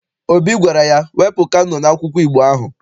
Obi gwara ya, wepụ Kano n'akwụkwọ Igbo ahụ!